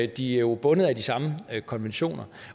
de er jo bundet af de samme konventioner